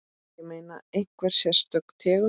Ég meina, einhver sérstök tegund?